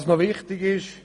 Was noch wichtig ist: